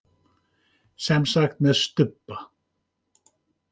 Semsagt með stubba.